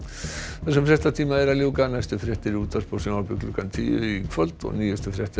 þessum fréttatíma er að ljúka næstu fréttir eru í útvarpi og sjónvarpi klukkan tíu í kvöld og nýjustu fréttir